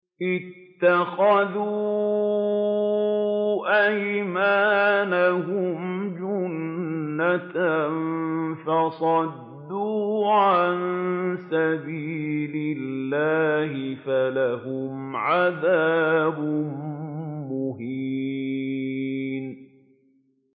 اتَّخَذُوا أَيْمَانَهُمْ جُنَّةً فَصَدُّوا عَن سَبِيلِ اللَّهِ فَلَهُمْ عَذَابٌ مُّهِينٌ